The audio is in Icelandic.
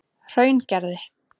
Hraungerði